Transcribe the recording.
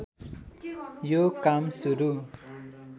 यो काम सुरु